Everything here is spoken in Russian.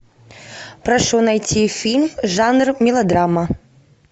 прошу найти фильм жанр мелодрама